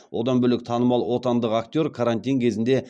одан бөлек танымал отандық актер карантин кезінде